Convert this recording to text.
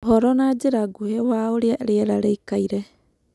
uhoro na njĩra nguhĩ wa urĩa rĩera rĩĩkaĩre